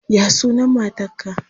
Ya ya sunan matarka?